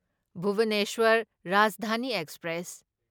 Bhubaneswar Rajdhani express